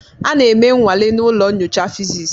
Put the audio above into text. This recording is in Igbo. A na-eme nnwale na ụlọ nyocha fịsis.